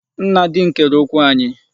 Nna di m kere okwu anyị.